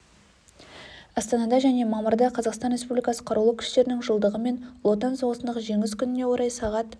астанада және мамырда қазақстан республикасы қарулы күштерінің жылдығы мен ұлы отан соғысындағы жеңіс күніне орай сағат